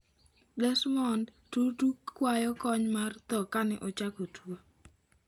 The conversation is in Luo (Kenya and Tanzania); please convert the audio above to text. Desmond Tutu kwayo kony mar tho kane ochako tuo